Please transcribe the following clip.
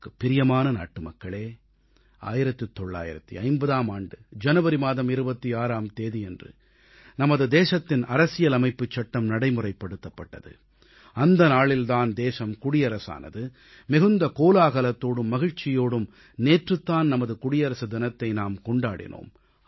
எனது பேரன்புக்குரிய நாட்டுமக்களே 1950ஆம் ஆண்டு ஜனவரி மாதம் 26ஆம் தேதியன்று நமது தேசத்தின் அரசியலமைப்புச் சட்டம் நடைமுறைப்படுத்தப்பட்டது அந்த நாளில் தான் தேசம் குடியரசானது மிகுந்த கோலாகலத்தோடும் மகிழ்ச்சியோடும் நேற்றுதான் நமது குடியரசு தினத்தை நாம் கொண்டாடினோம்